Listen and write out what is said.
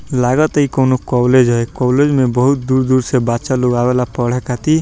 लगता इ कउनो कॉलेज ह ये कॉलेज में बहुत दूर-दूर से बच्चा लोग अवेला पढ़े खातिर।